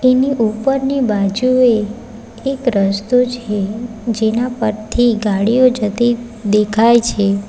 એની ઉપરની બાજુએ એક રસ્તો છે જેના પરથી ગાડીઓ જતી દેખાય છે.